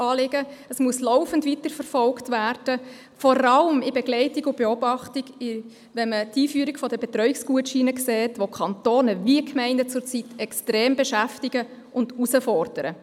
Es muss laufend weiterverfolgt werden, vor allem die Begleitung und Beobachtung der Kantone und Gemeinden, da man sieht, dass die Einführung der Betreuungsgutscheine sie zurzeit extrem beschäftigt und herausfordert.